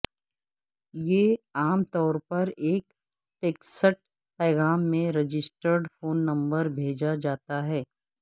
یہ عام طور پر ایک ٹیکسٹ پیغام میں رجسٹرڈ فون نمبر بھیجا جاتا ہے